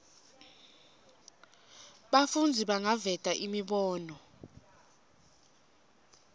bafundzi bangaveta imibono